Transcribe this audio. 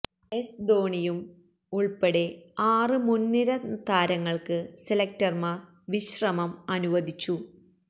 S ധോണിയും ഉള്പ്പെടെ ആറ് മുന്നിര താരങ്ങള്ക്ക് സെലക്ടര്മാര് വിശ്രമം അനുവദിച്ചു